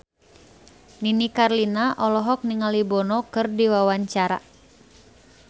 Nini Carlina olohok ningali Bono keur diwawancara